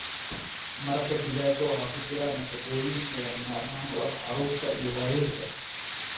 Maraqa digaaga waxaa ku jira nafaqooyin lagama maarmaan u ah carruurta iyo waayeelka.